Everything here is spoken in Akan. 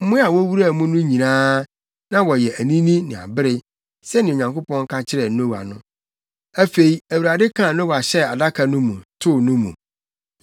Mmoa a wowuraa mu no nyinaa, na wɔyɛ anini ne abere, sɛnea Onyankopɔn ka kyerɛɛ Noa no. Afei, Awurade kaa Noa hyɛɛ adaka no mu, too no mu.